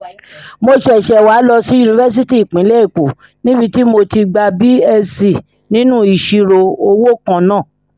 mo ṣẹ̀ṣẹ̀ wáá lọ sí yunifásitì ìpínlẹ̀ èkó níbi tí mo ti gba bsc nínú ìṣirò owó kan náà